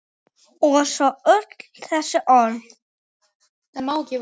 Og svo öll þessi orð.